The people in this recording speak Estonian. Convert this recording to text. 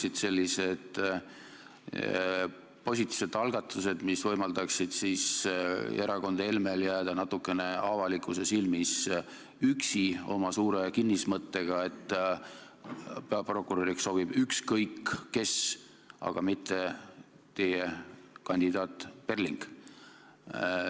Need oleksid positiivsed sammud, mille mõjul erakond Helme jääks avalikkuse silmis üksi oma kinnismõttega, et peaprokuröriks sobib ükskõik kes, aga mitte teie kandidaat Perling.